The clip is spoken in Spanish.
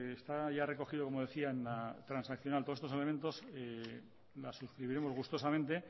está ya recogido como decían en la transaccional todos estos elementos lo suscribiremos gustosamente